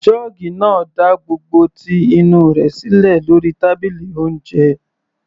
Jọ́ọ́gì náà da gbogbo ti inú rẹ̀ sílẹ̀ lórí tábìlì oúnjẹ.